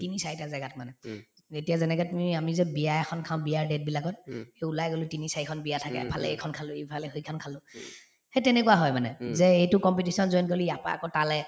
তিনি চাৰিটা জেগাত মানে এতিয়া যেনেকে তুমি আমি যে বিয়া এখন খাওঁ বিয়াৰ date বিলাকত এই ওলাই গলো তিনি চাৰিখন বিয়া থাকে ভালে কেইখন খালো ইফালে সেইখন খালো সেই তেনেকুৱা হয় মানে যে এইটো competition ত join কৰিলো ইয়াৰ পৰা আৰু তালে